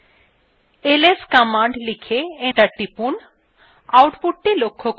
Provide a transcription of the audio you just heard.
ls command লিখে enter টিপুন